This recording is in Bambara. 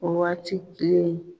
O waati kelen